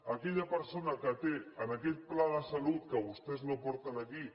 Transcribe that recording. aquella persona que té en aquest pla de salut que vostès no porten aquí